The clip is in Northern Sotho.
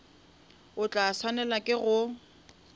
o tla swanela ke go